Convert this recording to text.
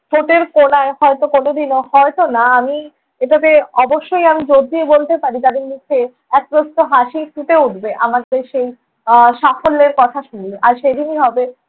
ঠোঁটের কোণায় হয়ত কোনোদিনও হয়ত না আমি এটাতে অবশ্যই আমি জোড় দিয়ে বলতে পারি তাঁদের মুখে এক প্রস্থ হাসি ফুটে উঠবে আমাদের সেই আহ সাফল্যের কথা শুনে। আর সেদিনই হবে